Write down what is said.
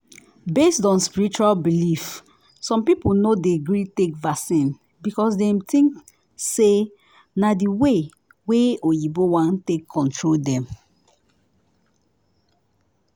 based on spiritual belief some people no dey gree take vaccine because dem think say na the way wa oyinbo wan take control dem